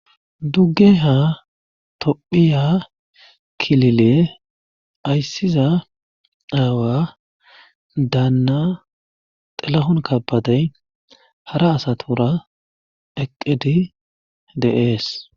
dugge ha tophiya kilile ayssiza aawa daanna xelahon kapatey hara asatura eqqedi deees